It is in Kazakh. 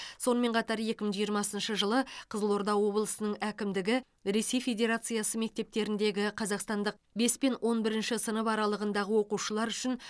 сонымен қатар екі мың жиырмасыншы жылы қызылорда облысының әкімдігі ресей федерациясы мектептеріндегі қазақстандық бес пен он бірінші сынып аралығындағы оқушылары үшін